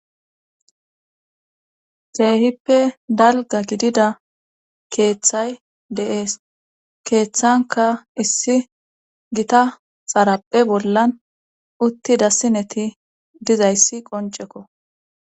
xeehippe dalga gidida keeththay deees keeththanka issi gita xaraphe bollan utti dassineti dizayssi qoncekko